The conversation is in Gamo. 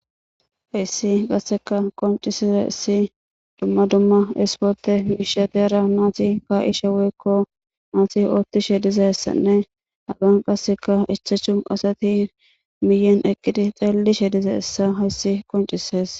Heyssi qasseka qonccissizayssi dumma dumma isporthe miishsha heera naathi kaa7ishe woykko naathi ooththishe dizayssanne hagan qasseka ichchachu asathi miyen eqqidi xeellishe dizayssa hayssi qonccisses.